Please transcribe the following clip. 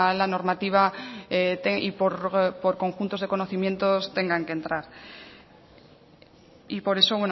la normativa y por conjuntos de conocimientos tengan que entrar y por eso